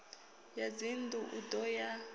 ya dzinnḓu u ḓo ya